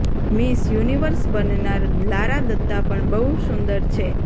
miss Universe બનનાર લારા દત્તા પણ બહુ સુંદર છે